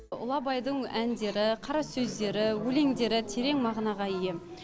ұлы абайдың әндері қара сөздері өлеңдері терең мағынаға ие